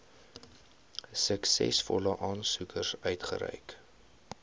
suksesvolle aansoekers uitgereik